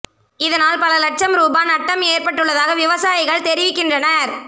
இதனால் பல இலட்சம் ரூபா நட்டம் ஏற்பட்டுள்ளதாக விவசாயிகள் தெரிவிக்கின்றனர்